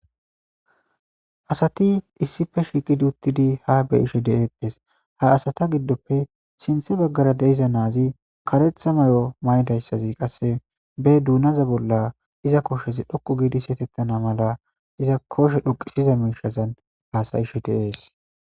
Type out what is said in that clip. asati issife shiqidi uttidi ha be ishe de7eetes ha asata giddoppe sinthe baggara deiza naazi karetha may7o maydayssazi qasse be duunaza bolla iza koshezi dhoqu giidi setettana mala iza koshe dhuqisiza miishazan haasayishe deees